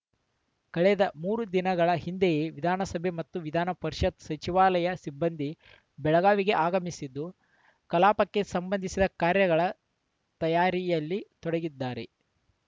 ಕಳೆದ ಮೂರು ದಿನಗಳ ಹಿಂದೆಯೇ ವಿಧಾನಸಭೆ ಮತ್ತು ವಿಧಾನಪರಿಷತ್‌ ಸಚಿವಾಲಯದ ಸಿಬ್ಬಂದಿ ಬೆಳಗಾವಿಗೆ ಆಗಮಿಸಿದ್ದು ಕಲಾಪಕ್ಕೆ ಸಂಬಂಧಿಸಿದ ಕಾರ್ಯಗಳ ತಯಾರಿಯಲ್ಲಿ ತೊಡಗಿದ್ದಾರೆ